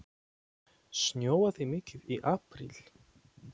Snjóaði mikið í apríl?